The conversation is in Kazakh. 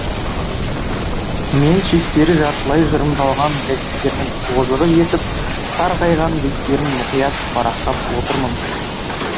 мен шеттері жартылай жырымдалған газеттердің тозығы жетіп сарғайған беттерін мұқият парақтап отырмын